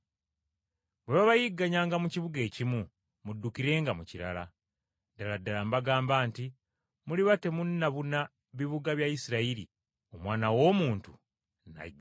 Bwe babayigganyanga mu kibuga ekimu muddukirenga mu kirala! Ddala ddala mbagamba nti muliba temunnabuna bibuga bya Isirayiri, Omwana w’Omuntu n’ajja.